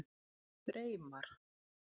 Freymar